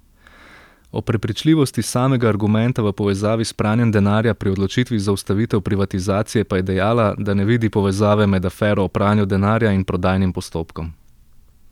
O prepričljivosti samega argumenta v povezavi s pranjem denarja pri odločitvi za ustavitev privatizacije pa je dejala, da ne vidi povezave med afero o pranju denarja in prodajnim postopkom.